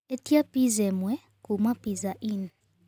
ĩtĩa pizza ĩmwe kũma pizza inn